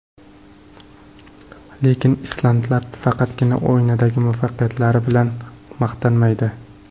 Lekin islandlar faqatgina o‘yindagi muvaffaqiyatlari bilan maqtanmaydi.